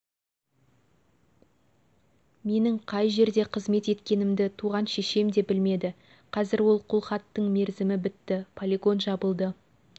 менің қай жерде қызмет еткенімді туған шешем де білмеді қазір ол қолхаттың мерзімі бітті полигон жабылды